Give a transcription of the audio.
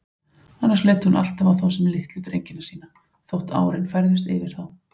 Annars leit hún alltaf á þá sem litlu drengina sína, þótt árin færðust yfir þá.